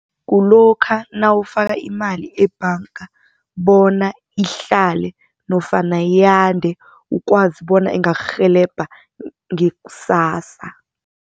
Kulokha nawufaka imali ebhanga bona ihlale nofana yande ukwazi bona ingakurhelebha ngakusasa.